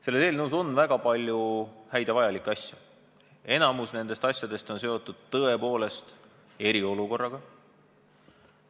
Selles eelnõus on väga palju häid ja vajalikke asju, enamik neist on tõepoolest seotud eriolukorraga.